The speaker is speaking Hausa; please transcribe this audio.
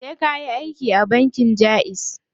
Sai kayi aiki a bankin jaiz.